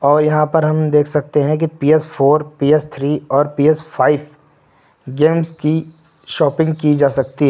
और यहां पर हम देख सकते हैं कि पी_एस फोर पी_एस थ्री और पी_एस फाइव गेम्स की शॉपिंग की जा सकती है।